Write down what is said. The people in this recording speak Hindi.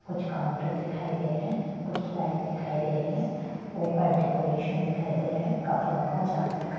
कुछ काउन्टर दिखाई दे रहे कुछ लाइट दिखाई दे रही है ऊपर डेकोरेशन दिखाई दे रहे कपड़ों का चादर का --